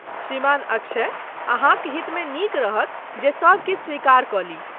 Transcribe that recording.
श्रीमान अक्षय, अहाँक हितमे नीक रहत जे सब किछु स्वीकार कऽ ली।